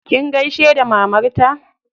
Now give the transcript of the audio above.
Kin gaishe da mamarta?